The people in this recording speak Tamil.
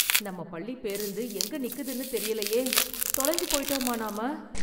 நம்ம பள்ளிப் பேருந்து எங்க நிக்குதுன்னுத் தெரியலையே. தொலைஞ்சு போய்ட்டோமா நாம?